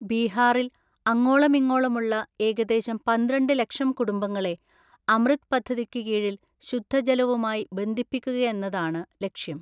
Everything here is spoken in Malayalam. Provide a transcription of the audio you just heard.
ബീഹാറില്‍ അങ്ങോളമിങ്ങോളമുള്ള ഏകദേശം പന്ത്രണ്ട് ലക്ഷം കുടുംബങ്ങളെ അമൃത് പദ്ധതിക്ക് കീഴില്‍ ശുദ്ധജലവുമായി ബന്ധിപ്പിക്കുകയെന്നതാണ് ലക്ഷ്യം.